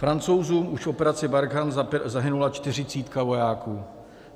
Francouzům už v operaci Barkhane zahynula čtyřicítka vojáků.